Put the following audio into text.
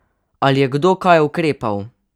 Ali je kdo kaj ukrepal?